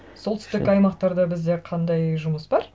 солтүстік аймақтарда бізде қандай жұмыс бар